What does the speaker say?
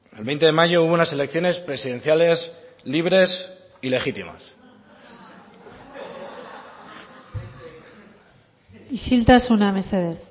el veinte de mayo hubo unas elecciones presidenciales libres y legítimas isiltasuna mesedez